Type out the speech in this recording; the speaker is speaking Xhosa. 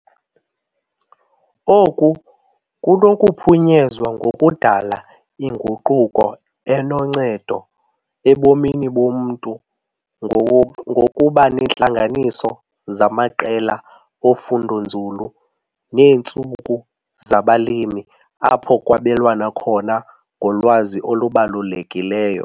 Oku kunokuphunyezwa ngokudala inguquko enoncedo ebomini bomntu ngokuba neentlanganiso zamaqela ofundo-nzulu neentsuku zabalimi apho kwabelwana khona ngolwazi olubalulekileyo.